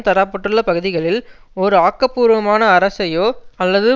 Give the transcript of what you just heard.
தர பட்டுள்ள பகுதிகளில் ஒரு ஆக்க பூர்வமான அரசையோ அல்லது